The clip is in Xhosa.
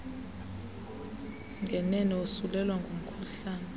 ngenene wosulelwa ngumkhuhlane